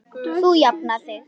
Þú jafnar þig.